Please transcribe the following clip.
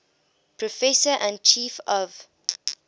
professor and chief of